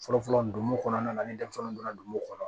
Fɔlɔfɔlɔ donmo kɔnɔna na ni denmisɛnninw donna dugu kɔnɔ